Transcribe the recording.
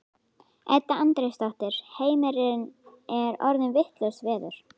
Edda Andrésdóttir: Heimir er orðið vitlaust veður?